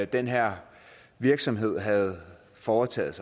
den her virksomhed havde foretaget